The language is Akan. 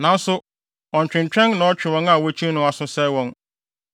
Nanso, ɔntwentwɛn na ɔtwe wɔn a wokyi no no aso, sɛe wɔn.